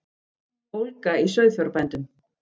Ólga í sauðfjárbændum